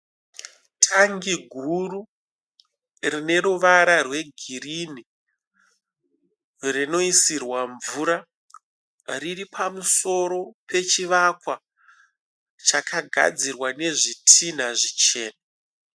Tangi guru rine ruvara rweghirini rinoisirwa mvura, riripamusoro pechivakwa chakagadzirwa nezvidhinha zvichena.